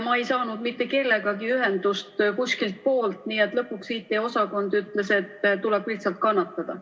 Ma ei saanud mitte kellegagi ühendust kuskilt poolt ja lõpuks IT-osakond ütles, et tuleb lihtsalt ära kannatada.